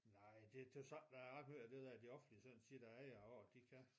Nej det det jo sådan jeg også hører det der i det offentlige så siger de nå jo de kan